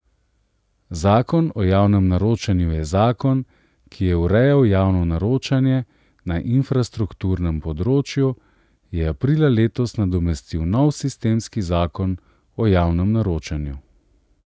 Zakon o javnem naročanju in zakon, ki je urejal javno naročanje na infrastrukturnem področju, je aprila letos nadomestil nov sistemski zakon o javnem naročanju.